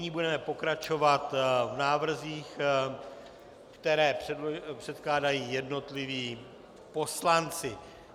Nyní budeme pokračovat v návrzích, které předkládají jednotliví poslanci.